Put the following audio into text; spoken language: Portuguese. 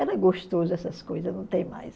Era gostoso essas coisas, não tem mais.